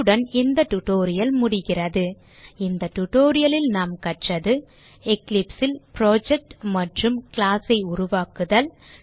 இத்துடன் இந்த டியூட்டோரியல் முடிகிறது இந்த tutorial லில் நாம் கற்றது eclipse ல் புரொஜெக்ட் மற்றும் class ஐ உருவாக்குதல்